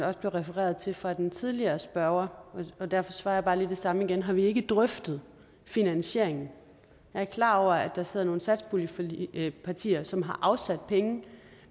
også blev refereret til fra den tidligere spørger og derfor svarer jeg bare lige det samme igen har vi ikke drøftet finansieringen jeg er klar over at der sidder nogle satspuljepartier som har afsat penge